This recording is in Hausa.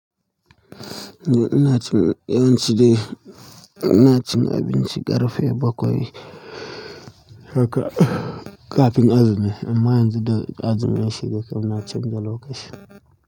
Eh ina cin yawancidai ina cin abinci ƙarfe bakwai haka ƙafin azumi. Amma yanzu azumi shi da kam na cin dalo ƙashi.